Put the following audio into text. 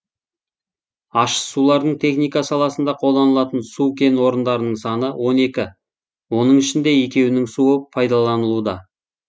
ащы сулардың техника саласында қолданылатын су кен орыдарының саны он екі оның ішінде екеуінің суы пайдаланылуда